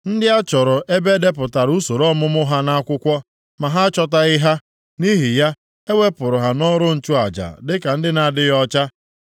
Ndị a chọrọ ebe e depụtara usoro ọmụmụ ha nʼakwụkwọ, ma ha achọtaghị ha, nʼihi ya, e wepụrụ ha nʼọrụ nchụaja dịka ndị na-adịghị ọcha.